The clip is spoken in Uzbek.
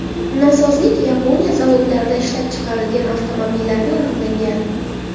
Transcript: Nosozlik Yaponiya zavodlarida ishlab chiqarilgan avtomobillarda aniqlangan.